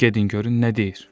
Gedin görün nə deyir.